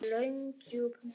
Löngum djúpum stöfum.